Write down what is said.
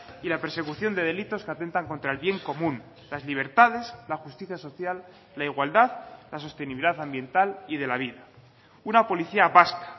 y la persecución de delitos que atentan contra el bien común las libertades la justicia social la igualdad la sostenibilidad ambiental y de la vida una policía vasca